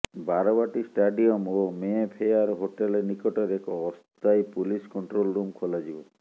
Barabati stadium ଓ Mayfair hotel ନିକଟରେ ଏକ ଅସ୍ଥାୟୀ ପୁଲିସ କଣ୍ଟ୍ରୋଲ ରୁମ୍ ଖୋଲାଯିବ